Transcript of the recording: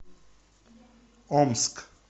омск